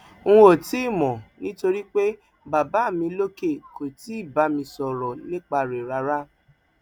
n ò tí ì mọ nítorí pé baba mi lókè kò tí ì bá mi sọrọ nípa rẹ rárá